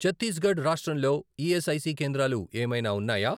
ఛత్తీస్ గఢ్ రాష్ట్రంలో ఈఎస్ఐసి కేంద్రాలు ఏమైనా ఉన్నాయా?